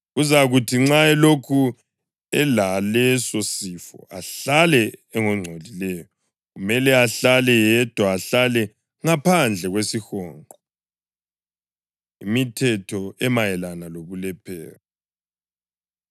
Kuzakuthi nxa elokhu elaleso sifo, ahlale engongcolileyo. Kumele ahlale yedwa, ahlale ngaphandle kwesihonqo.” Imithetho Emayelana Lobulephero